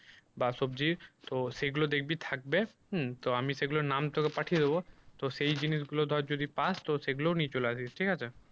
বা সবজির তো সেগুলো দেখবি থাকবে উম তো আমি সেগুলোর নাম তোকে পাঠিয়ে দেবো তো সেই জিনিস গুলো যদি ধর পাস তো সেগুলোও নিয়ে চলে আসিস ঠিক আছে।